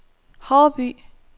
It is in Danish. Haarby